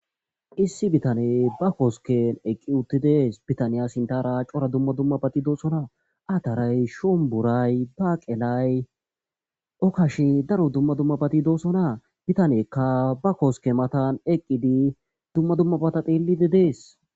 issi bitane ba koosken eqqi utti dees bitaniya sintara cora dumma dumma bati doosona aataray shomburay baaqelay okkashe daro dumma dummabati doossonaa bitaneekka ba koske matan eqqidi dumma dumma bata xeelidi dees